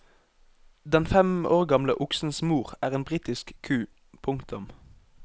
Den fem år gamle oksens mor er en britisk ku. punktum